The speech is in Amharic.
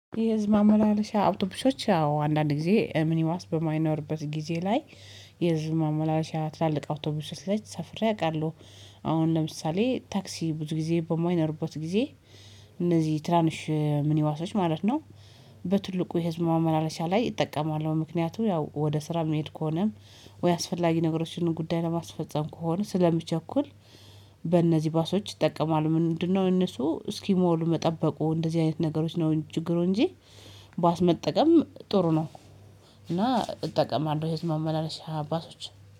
የህዝብ ማመላለሻ አውቶቡሾች ያው አንዳንድ ጊዜ ምኒማስ በማይኖርበት ጊዜ ላይ የህዝብ ማመላለሻ ትላልቅ አውቶቡስ ሰፍሬ አውቃለሁ አሁን ለምሳሌ ታክሲ ብዙ ጊዜ በሞይነርቦት ጊዜ እነዚህ ትናንሽ ሚኒባሶች ማለት ነው፤ በትልቁ የህዝብ ማመላለሻ ላይ እጠቀማለሁ፤ ምክንያቱም ያው ወደ ስራ የሚሄድ ከሆነ ወይ አስፈላጊ ነገሮችን ጉዳይ ለማስፈፀም፣ ከሆነ ስለምቸኩል በእነዚህ ባሶች ይጠቀማሉ ምንድነው እነሱ እስኪሞሉ መጠበቁ እንደዚህ አይነት ነገሮች ነው ችግሩ እንጂ ባስ መጠቀም ጥሩ ነው እና እጠቀማለሁ የህዝብ መመላለሻ ባሶች።